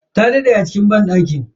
Ta daɗe a cikin banɗakin.